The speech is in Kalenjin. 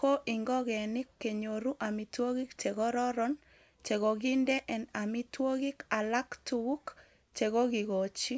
ko ingogenik konyoru amitwogik che kororon che kokinde en amitwogik alak tuguk chekokikochi.